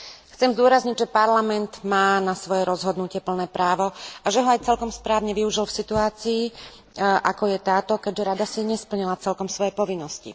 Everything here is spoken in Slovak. Chcem zdôrazniť, že Parlament má na svoje rozhodnutie plné právo a že ho aj celkom správne využil v situácii, ako je táto, keďže Rada si nesplnila celkom svoje povinnosti.